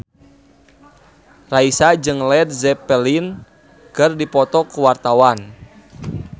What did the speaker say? Raisa jeung Led Zeppelin keur dipoto ku wartawan